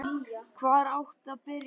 HVAR ÁTTI AÐ BYRJA?